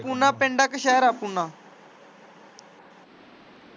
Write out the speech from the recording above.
ਪੂਨਾ ਪਿੰਡ ਆ ਕੇ ਸ਼ਹਿਰ ਆ ਪੂਨਾ?